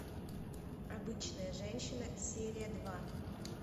обычная женщина серия два